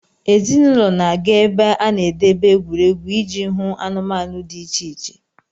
Ezinụlọ na-aga ebe a na-edebe egwuregwu iji hụ anụmanụ dị iche iche.